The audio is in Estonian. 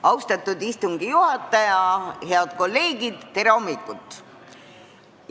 Austatud istungi juhataja, head kolleegid, tere hommikust!